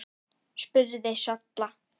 spurði Solla.